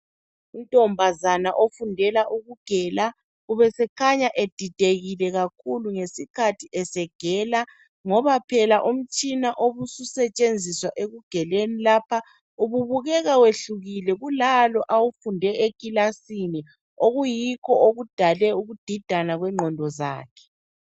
Untombazana ofundela ukugela ubesekhanya edidekile kakhulu ngesikhathi egela, ngoba phela umutshina obusetshenziswa ekugeleni lapha ububukeka wehlukile kulalo awufunde ekilasini okuyikho okudale ukudidana kwengqondo zakhe.